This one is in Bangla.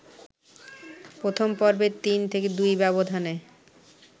প্রথম পর্বে ৩-২ ব্যবধানে